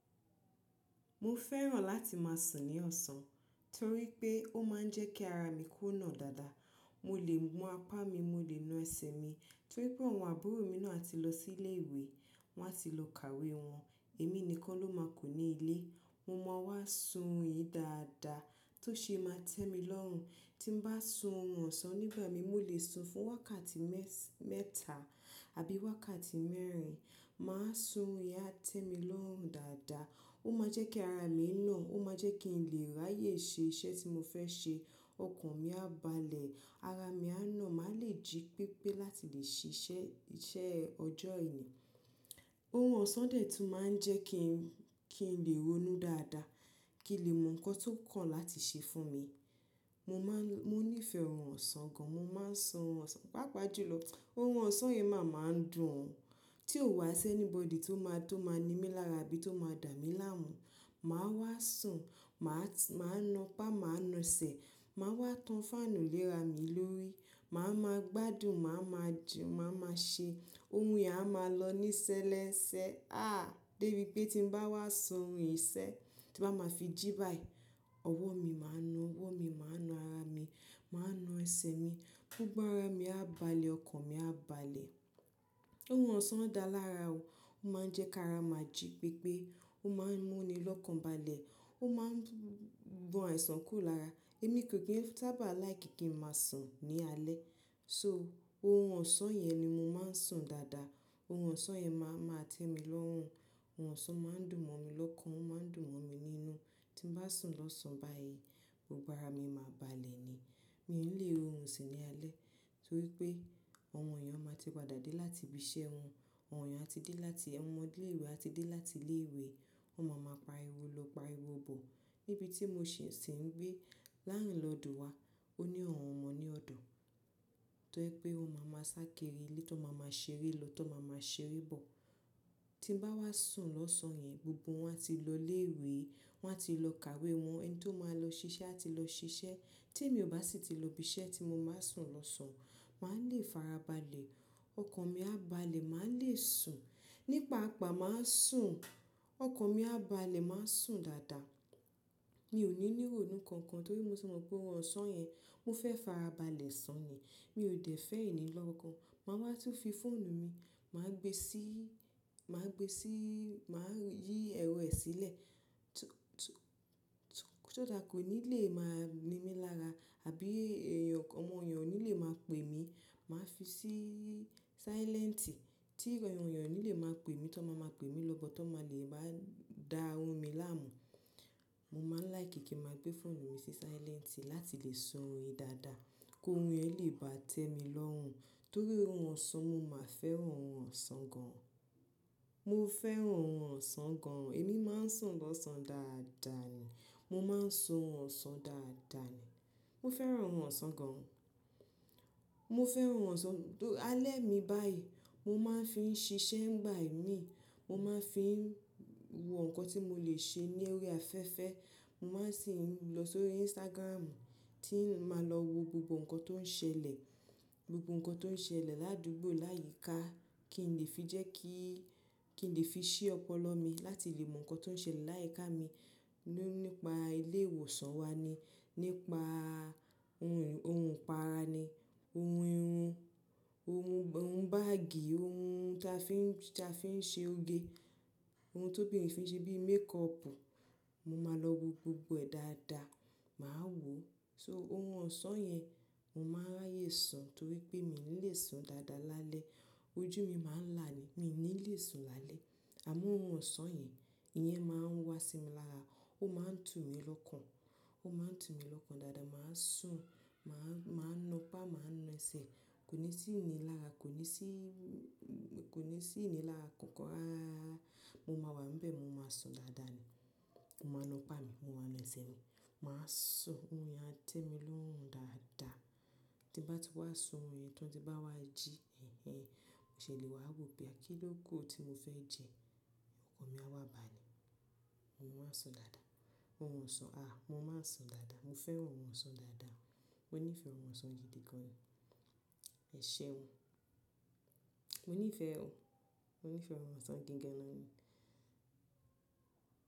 Mo fẹ́ràn láti máa sùn ní ọ̀sán torí pé ó máa ń jẹ́ kí ara mi ko nàa dáadáa. Mo lè na apá mi, mo lè na ẹsẹ̀ mi torí pé àwọn àbúrò mi náà a ti lọ sí ilé ìwé, wọ́n a ti lọ kàwé wọn. Èmi nìkan ló máa kù ní ilé. Mo máa wá sùn orun yi dáadáa tó ṣe é máa tẹ́ mi lọ́ rùn. Tí n bá sùn orun ọ̀sán nígbà mi, mo lè sùn fún wákàtí me si, mẹ́ta àbí wákàtí mẹ́rin. Màá sùn, orun yen a tẹ́ mi lọ́ rùn dáadáa. Ó máa jẹ́ kí ara mi na, ó máa jẹ́ kí n lè ráyè ṣe iṣẹ́ tí mo fẹ́ ṣe. Ọkàn mi á balẹ̀, ara mi á na, màá le jí pépé láti lè ṣiṣẹ́, iṣẹ́ ọjọ́ yen. Orun ọ̀sán dẹ̀ tún máa ń jẹ́ kí n lè ronú dáadáa, kí n lè mọ nǹkan tó kàn láti ṣe fún mi, mo maa n Mo níí fẹ́ orun ọ̀sán gan. Mo máa ń sùn orun ọ̀sán, pàápàá jùlọ. Orun ọ̀sán yii máa ma ń dùn ọ, tí ò wá sí anybody tó máa to maa ní mi lára abí tó máa dà mí láàmú. Màá wá sùn, màá na apá, màá na ẹsẹ̀, màá wá tan fáànù lé ra mi lórí. Màá ma gbádùn, màá ma jẹ́, màá ma ṣe orun yen a máa lọ ní ṣẹlẹ n ṣẹ. Ah! Dé bí pé tí n bá wá sùn orun yii se, tí bá máa fi jí báyìí, ọwọ́ mi máa na, ọwọ́ mi máa na ara mi, màá na ẹsẹ̀ mi. Gbogbo ara mi á balẹ̀, ọkàn mi á balẹ̀. Orun ọ̀sán dá lára o. Ó máa ń jẹ́ kí ara máa jí pépé. Ó máa ń mú ni lọ́kàn balẹ̀. Ó máa ń gban àìsàn kúrò lára. Èmi kò kí n sábà̀ like kí n máa sùn ní alẹ́. So, orun ọ̀sán yẹn ni mo máa ń sùn dáadáa. Orun ọ̀sán yen ma ma n temi lorun. Ohun ọ̀sán máa ń dùn mọ́ mi lọ́kàn, ó máa ń dùn mọ́ mi nínú. Tí n bá sùn lọ́sàn-án báyìí, gbogbo ara mi máa balẹ̀ ni. Mi ò ní lè rorun sun ní alẹ́ torí pé àwọn èèyàn máa ti padà dé láti ibi iṣẹ́ wọn. Àwọn èèyàn ti dé láti, àwọn ọmọ ilé ìwé ti dé láti ilé ìwé. Wọ́n máa ma pariwo lọ, pariwo bọ̀ níbi tí mo sì ń gbé landlord wa. Ó ní àwọn ọmọ ní ọ̀dọ̀ torí pé wọ́n máa ma ṣá kirii ile, to ma máa ṣeré lọ́, to máa ma ṣeré bọ̀. Tí n bá wá sùn lọ́sán yẹn, gbogbo wọn ti lọ ilé ìwé, wọ́n a ti lọ kàwé wọn. Ẹni tó máa lọ ṣiṣẹ́ a ti lọ ṣiṣẹ́. Tí èmi ò bá sì ti lọ ibi iṣẹ́ tí mo máa ń sùn lọ́sán, màá le fara balẹ̀. Ọkàn mi á balẹ̀, màá le sùn. Nípaa a paa, màá sùn, ọkàn mi á balẹ̀, màá sùn dáadáa. Mi ò ní ní ronú kankan torí mo ti mọ̀ pé orun ọ̀sán yẹn, mo fẹ́ fara balẹ̀ sun nii. Mi ò dẹ̀ fẹ́ ìní lọ́kan. Màá wá tún fi fóònù mi, màá gbé sí, màá gbé sí, màá yí ẹ̀rọ ẹ sílẹ̀ ti-- kí só that kọ nílé máa ní mi lára àbí ẹ̀yàn kankan, ọmọ èèyàn nílé máa pè mí. Màá fi sí sálẹ́ǹtì. Tí ru won èèyàn nílé máa pè mí tọ́, máa ma pè mí lọ́bọ tọ́, máa le má dá orun mi láàmú. Mo máa ń like kí n máa gbé fóònù mi sí sálẹ́ǹtì láti lè sùn orun mi dáadáa, ko orun yẹn lè bá tẹ́ mí lọ́ rùn, torí orun ọ̀sán, mo máa fẹ́ran orun ọ̀sán gan an. Mo fẹ́ ohun ọ̀sán gan. Èmi máa ń sùn lọ́sán dáadáa ni. Mo máa ń sùn ọ̀sán dáadáa ni. Mo fẹ́ ohun ọ̀sán gan. Mo fẹ́ orun ọ̀sán-- alẹ́ mi báyìí, mo máa ń fi ń ṣiṣẹ́ nígbà i mí. Mo máa ń fi wò ǹkan tí mo lè ṣe ní orí afẹ́fẹ́. Mo máa sì ń lọ sórí Instagram tí mo máa lọ wo gbogbo nǹkan tó ń ṣẹlẹ̀, gbogbo nǹkan tó ń ṣẹlẹ̀ ládùúgbò láyíká kí n lè fi jẹ́ kí, kí n lè fi ṣií ọpọlọ mi láti lè mọ nǹkan tó ń ṣẹlẹ̀ láyíká mi nípa ilé ìwòsàn wa ni, nípaa eh ohun ìpara ni, ohun irun, ohun báàgì, ohun tí a fi ń ṣe oge, ohun tó bírin fí nṣe bií makeupu. Mo máa lọ wo gbogbo ẹ̀ dáadáa. Màá wò ó So, orun ọ̀sán yẹn, mo máa n ráyè sùn torí pé mi ò ní lè sùn dáadáa lálẹ́. Ojú mi máa ń là ni. Mi ò ní lè sùn lálẹ́. À mọ́ orun ọ̀sán yẹn, ìyẹn máa ń wá sí mi lára Ó máa ń tù mí lọ́kàn. Ó máa ń tù mí lọ́kàn dáadáa. Màá sùn, màá na apá, màá na ẹsẹ̀. Kò ní sí ìní lára, kò ní sí--, kò ní sí ìní lára kankan rararara. Mo máa wà n bẹ̀, mo máa sùn dáadáa ni. Mo máa na apá mi, mo máa na ẹsẹ̀ mi. Màá sùn, orun yen a tẹ́ mí lọ́ rùn dáadáa. Tí n bá ti wá sùn yẹn tan, ti bá wá jí ẹ̀hẹ̀, mo ṣè lé wà ó pé ah, kí ló ku o tí mo fẹ́ jẹ, ọkàn mi á wá balẹ̀. Mo máa ń sùn dáadáa. Ohun ọ̀sán, ah! Mo máa ń sùn dáadáa. Mo fẹ́ ohun ọ̀sán dáadáa. Mo níí fẹ́ orun ọ̀sán gidi gan. Ẹ̀ṣeun. Mo níí fẹ́--. Mo nífẹ́ orun ọ̀sán gi gan ni.